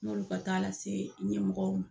N'olu ka taa lase ɲɛmɔgɔw ma.